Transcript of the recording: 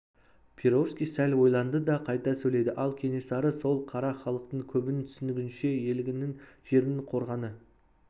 перовский сәл ойланды да қайта сөйледі ал кенесары сол қара халықтың көбінің түсінігінше елінің жерінің қорғаны